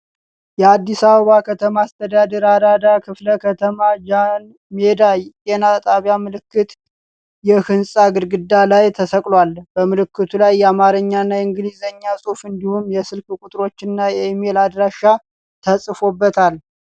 የአዲስ አበባ ከተማ አስተዳደር አራዳ ክፍለ ከተማ ጃንሜዳ ጤና ጣቢያ ምልክት የሕንፃ ግድግዳ ላይ ተሰቅሏል። በምልክቱ ላይ የአማርኛና የእንግሊዝኛ ጽሑፍ እንዲሁም የስልክ ቁጥሮችና የኢሜይል አድራሻ ተጽፎበታል።